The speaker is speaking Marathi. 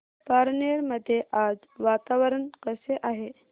पारनेर मध्ये आज वातावरण कसे आहे